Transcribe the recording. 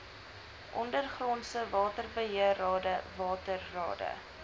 ondergrondse waterbeheerrade waterrade